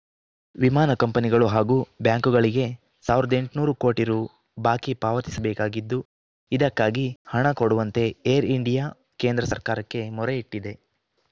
ವಿಮಾನ ಕಂಪನಿಗಳು ಹಾಗೂ ಬ್ಯಾಂಕುಗಳಿಗೆ ಸಾವಿರದ ಎಂಟುನೂರು ಕೋಟಿ ರು ಬಾಕಿ ಪಾವತಿಸಬೇಕಾಗಿದ್ದು ಇದಕ್ಕಾಗಿ ಹಣ ಕೊಡುವಂತೆ ಏರ್‌ ಇಂಡಿಯಾ ಕೇಂದ್ರ ಸರ್ಕಾರಕ್ಕೆ ಮೊರೆ ಇಟ್ಟಿದೆ